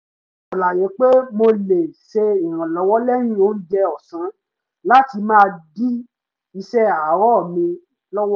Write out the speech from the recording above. mo ṣàlàyé pé mo lè ṣe ìrànlọ́wọ́ lẹ́yìn oúnjẹ ọ̀sán láti má dí iṣẹ́ àárọ̀ mi lọ́wọ́